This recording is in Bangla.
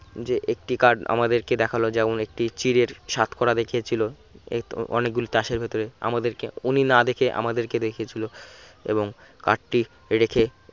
যে একটি card আমাদেরকে দেখালো যেমন একটি চিঁড়ের সাতকরা দেখিয়েছিল এ অনেকগুলি তাসের ভেতরে আমাদেরকে উনি না দেখে আমাদেরকে দেখিয়ে ছিল এবং card টি রেখে